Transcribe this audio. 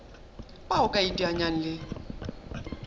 bao o ka iteanyang le